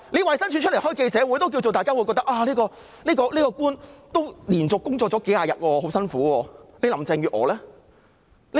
衞生署舉行記者招待會，大家也認為這位官員連續工作數十天，很辛苦，但林鄭月娥呢？